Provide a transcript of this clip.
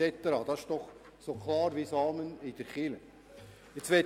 Das ist doch so klar wie das Amen in der Kirche.